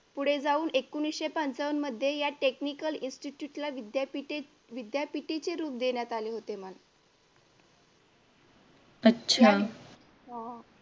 पुढे जाऊन एकोणविशे पंचावन्न मध्ये या technical institute ला विद्यापीठे विद्यापीठेचे रूप देण्यात आले होते हा